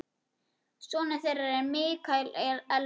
Sonur þeirra er Mikael Elmar.